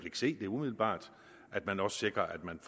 ikke se det umiddelbart at man også sikrer at man